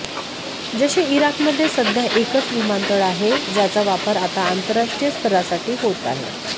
जसे इराकमध्ये सध्या एकच विमानतळ आहे ज्याचा वापर आता आंतरराष्ट्रीय स्तरासाठी होत आहे